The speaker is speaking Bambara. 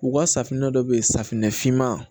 U ka safunɛ dɔ bɛ yen safunɛ finman